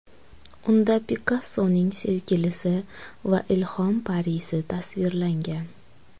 Unda Pikassoning sevgilisi va ilhom parisi tasvirlangan.